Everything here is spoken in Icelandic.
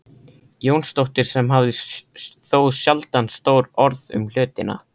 Jónsdóttir sem hafði þó sjaldan stór orð um hlutina.